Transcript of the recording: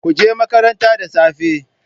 Kuje makaranta da safe.